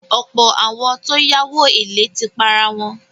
Ọ̀pọ̀ àwọn tó yáwó èlé ti parawọn.